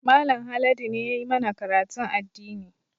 Mallam Haladu ne ya yi mana karatun addini